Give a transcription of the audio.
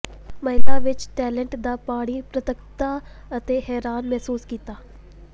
ਮਹਿਲਾ ਵਿੱਚ ਟਾਇਲਟ ਦਾ ਪਾਣੀ ਪ੍ਰਤੱਖਤਾ ਅਤੇ ਹੈਰਾਨ ਮਹਿਸੂਸ ਕੀਤਾ